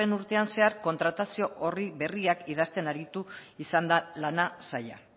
urtean zehar kontratazio orri berriak idazten aritu izan da lan saila